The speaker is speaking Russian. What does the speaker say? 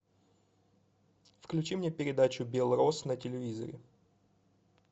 включи мне передачу белрос на телевизоре